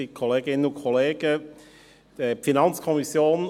Kommissionspräsident der FiKo.